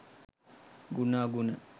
ගුණ අගුණ